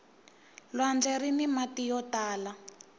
lwandle rini mati yo tala